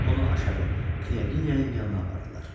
Onu aşağı Knyaginya'nın yanına apardılar.